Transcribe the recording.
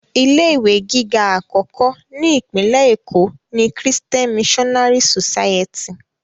Ilé ìwé gíga àkọ́kọ́ ni Ìpínlẹ̀ Èkó ni Christian Missionary society